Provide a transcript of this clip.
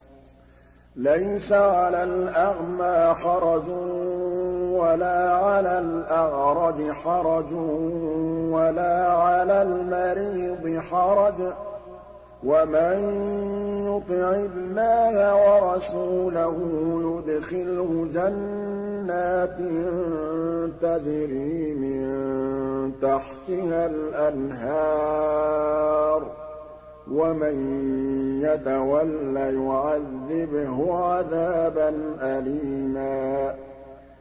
لَّيْسَ عَلَى الْأَعْمَىٰ حَرَجٌ وَلَا عَلَى الْأَعْرَجِ حَرَجٌ وَلَا عَلَى الْمَرِيضِ حَرَجٌ ۗ وَمَن يُطِعِ اللَّهَ وَرَسُولَهُ يُدْخِلْهُ جَنَّاتٍ تَجْرِي مِن تَحْتِهَا الْأَنْهَارُ ۖ وَمَن يَتَوَلَّ يُعَذِّبْهُ عَذَابًا أَلِيمًا